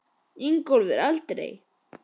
Ingólfur: Aldrei?